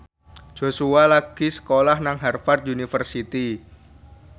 Joshua lagi sekolah nang Harvard university